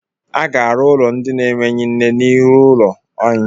Aga-arụ ụlọ ndị na-enweghị nne n'ihu ụlọ anyị.